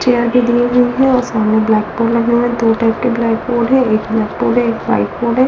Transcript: Chair भी दिए हुई है और सामने ब्लैक बोर्ड लगे हुई है दो टाइप के ब्लैक बोर्ड है एक ब्लैक बोर्ड है एक व्हाइट बोर्ड है।